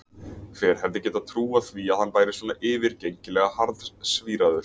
Hver hefði getað trúað því að hann væri svona yfirgengilega harðsvíraður!